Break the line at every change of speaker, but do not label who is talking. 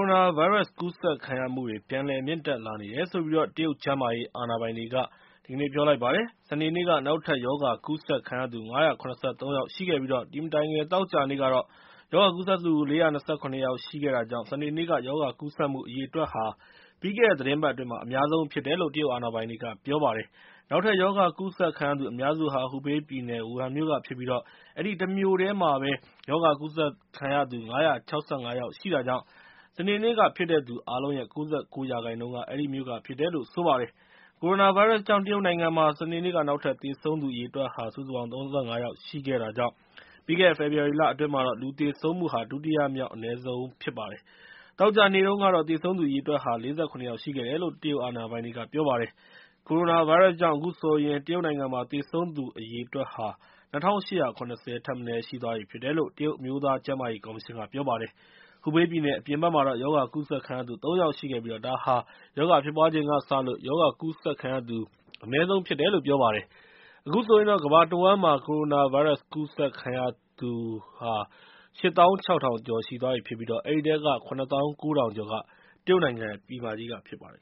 ိုနာဗိုင်းရပ်စ်ပိုး ကူးစက်ခံရမှုတွေ ပြန်မြင့်တက်လာတယ်လို့ တရုတ်ကျန်းမာရေး အာဏာပိုင်တွေက ပြောလိုက်ပါတယ်။ စနေနေ့က နောက်ထပ် ရောဂါကူးစက်ခံရသူ ၅၇၃ ယောက်ရှိခဲ့ပြီး အဲဒီမတိုင်ခင် သောကြာနေ့ကတော့ ရောဂါကူးစက်ခံရသူ ၄၂၇ ယောက် ရှိခဲ့တာကြောင့် စနေနေ့က ရောဂါကူးစက်မှု အရေအတွက်ဟာ ပြီးခဲ့တဲ့ သီတင်းပတ်အတွင်းမှာ အများဆုံးဖြစ်တယ်လို့ တရုတ်အာဏာပိုင်တွေက ပြောပါတယ်။ နောက်ထပ် ရောဂါကူးစက်ခံရသူ အများစုဟာ ဟူဘေးပြည်နယ် ဝူဟန်မြို့ကဖြစ်ပြီး အဲဒီတမြို့တည်းမှာ ရောဂါကူးစက်ခံရသူ ၅၆၅ ယောက်ရှိတာကြောင့် စနေနေ့က ဖြစ်တဲ့သူ အားလုံးရဲ့ ၉၉ ရာခိုင်နှုန်းက အဲဒီမြို့က ဖြစ်ပါတယ်။ ကိုရိုနာဗိုင်းရပ်စ်ကြောင့် တရုတ်နိုင်ငံမှာ စနေနေ့က နောက်ထပ် သေဆုံးသူ အရေအတွက်ဟာ စုစုပေါင်း ၃၅ ယောက်ရှိတာကြောင့် ပြီးခဲ့တဲ့ ဖေဖော်ဝါရီလအတွင်းမှာ လူသေဆုံးမှု ဒုတိယမြောက် အနည်းဆုံးနေ့ ဖြစ်ပါတယ်။ သောကြာနေ့တုန်းကတော့ သေဆုံးသူ အရေအတွက်ဟာ ၄၇ ယောက် ရှိခဲ့တယ်လို့ တရုတ်အာဏာပိုင်တွေက ပြောပါတယ်။ ကိုရိုနာဗိုင်းရပ်စ်ကြောင့် အခုဆိုရင် တရုတ်နိုင်ငံမှာ သေဆုံးသူအရေအတွက်ဟာ ၂၈၇၀ ထက်မနည်း ရှိသွားခဲ့ပြီဖြစ်တယ်လို့ တရုတ် အမျိုးသားကျန်းမာရေးကော်မရှင်က ပြောပါတယ်။ ဟူဘေးပြည်နယ် အပြင်ဘက်မှာတော့ ရောဂါကူးစက်ခံရသူ ၃ ယောက်ရှိခဲ့ပြီး ဒါဟာ ရောဂါဖြစ်ပွားချိန်ကစလို့ ရောဂါကူးစက်ခံရသူ အနည်းဆုံးဖြစ်တယ်လို့ ပြောပါတယ်။ အခုဆိုရင် ကမ္ဘာတဝှမ်းမှာ ကိုရိုနာဗိုင်းရပ်စ် ကူးစက်ခံရသူ စုစုပေါင်းဟာ ၈ သောင်း ၆ ထောင်ကျော်သွားပြီဖြစ်ပြီး အဲဒီထဲက ၇ သောင်း ၉ ထောင်ကျော်က တရုတ်နိုင်ငံ ပြည်မကြီးက ဖြစ်ပါတယ်